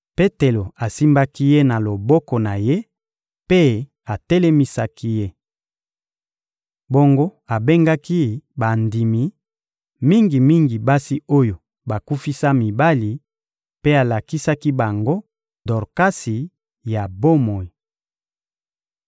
Petelo asimbaki ye na loboko na ye mpe atelemisaki ye. Bongo abengaki bandimi, mingi-mingi basi oyo bakufisa mibali, mpe alakisaki bango Dorkasi ya bomoi.